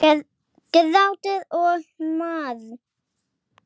Grátur og mar.